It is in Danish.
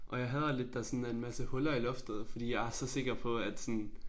Og jeg hader lidt der sådan er en masse huller i loftet fordi jeg er så sikker på at sådan